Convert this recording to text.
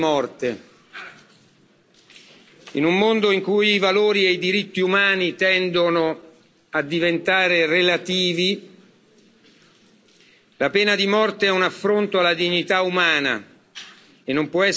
In un mondo in cui i valori e i diritti umani tendono a diventare relativi, la pena di morte è un affronto alla dignità umana che non può essere tollerato in nessun caso.